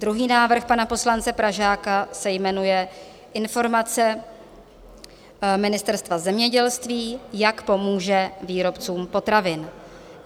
Druhý návrh pana poslance Pražáka se jmenuje Informace Ministerstva zemědělství, jak pomůže výrobcům potravin.